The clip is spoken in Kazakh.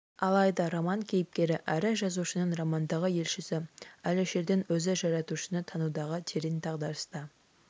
алайда роман кейіпкері әрі жазушының романдағы елшісі әлішердің өзі жаратушыны танудағы терең дағдарыста